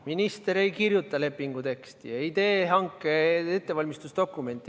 Minister ei kirjuta lepingu teksti ja ei tee hanke ettevalmistusdokumente.